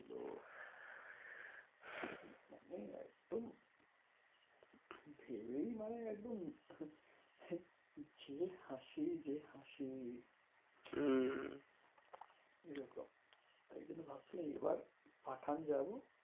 ভেবে মানে একদম যে হাসি যা হাসি হম তাই জন্য ভাবছিলাম এইবার পাঠান যাবো।